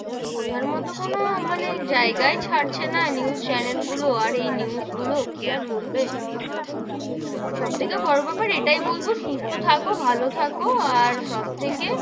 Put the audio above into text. বোঝার মতো কোনো মানে জায়গায় ছাড়ছে না news channel গুলো, আর এই news গুলো, কি আর বলবে, সব থেকে বড়ো বেপার এটাই বলবো সুস্থ থাকো, ভালো থাকো আর সবথেকে,